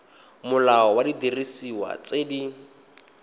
molao wa didiriswa tse di